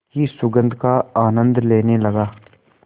की सुगंध का आनंद लेने लगा